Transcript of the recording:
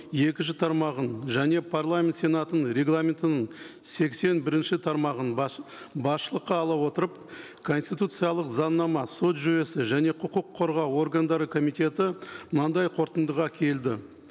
екінші тармағын және парламент сенатының регламентінің сексен бірінші тармағын басшылыққа ала отырып конституциялық заңнама сот жүйесі және құқық қорғау органдары комитеті мынандай қорытындыға келді